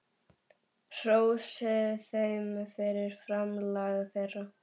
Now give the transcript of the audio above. Hrósið þeim fyrir framlag þeirra.